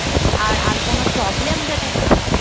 আর কোনো problem যাতে না হয়